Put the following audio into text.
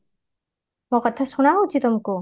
ମୋ କଥା ଶୁଣା ହଉଚି ତମକୁ